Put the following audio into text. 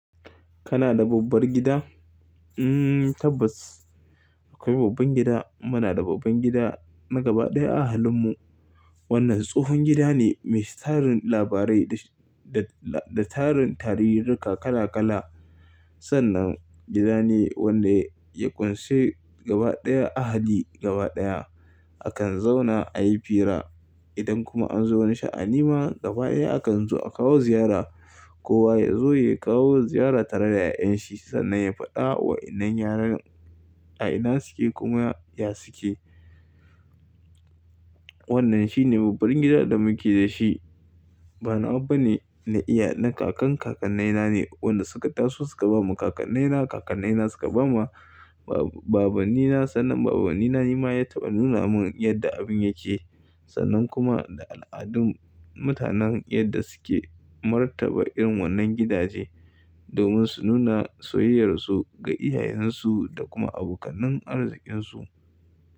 Kana da babbar gida? Mm tabbas akwai babban gida. Muna da babban gida na gaba ɗaya a halin mu. Wannan tsohon gida ne mai tarin labarai da da tarin tarihirrika kala kala. Sannan gida ne wanda ya ƙunshi gaba ɗaya ahali gaba ɗaya. Akan zauna a yi fira. Idan kuma an zo wani sha'ani ma gaba ɗaya akan zo a kawo ziyara. Kowa ya zo ya kawo ziyara tare da 'ya'yan shi sannan ya faɗa wa inan yaran a ina suke kuma ya suke. Wannan shine babban gidan da muke da shi. Ba nawa bane na iya na kakan kakanai na ne wanda suka taso suka bamu. Kakannai na kakannai na suka bama. Ba baban ni na sannan baban ni na ni ma ya taɓa nuna mun yadda abin yake. Sannan kuma da al'adun mutanen yadda suke martaba irin wannan gidaje. Domin su nuna soyayyar su ga iyayen su da kuma abokanan arzikin su.